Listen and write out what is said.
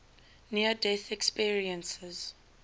near death experiences